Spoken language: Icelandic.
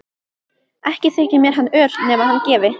Ekki þyki mér hann ör nema hann gefi.